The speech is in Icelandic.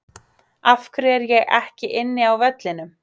Af hverju er ég ekki inni á vellinum?